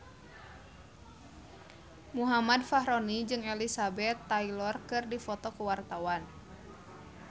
Muhammad Fachroni jeung Elizabeth Taylor keur dipoto ku wartawan